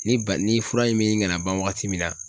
Ni ba ni fura in bɛ ɲini kana ban waagati min na .